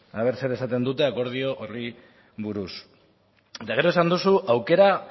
eh ea zer esaten duten akordio horri buruz eta gero esan duzu aukera